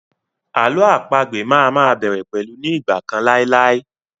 Àlọ́ àpagbè má a má bẹ̀rẹ̀ pẹ̀lú 'ní ìgbà kan láì láì'.